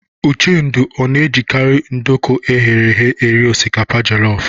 Uchendu ọ na-ejikarị nduku eghere eghe eri osikapa jelọf?